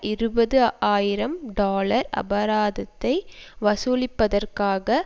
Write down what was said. இருபது ஆயிரம் டொலர் அபராதத்தை வசூலிப்பதற்காக